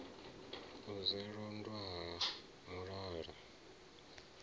u sa londotwa ha mulala